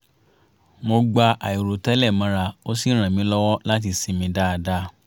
mo gba àìrò tẹ́lẹ̀ mọ́ra ó sì ràn mí lọ́wọ́ láti sinmi dáadáa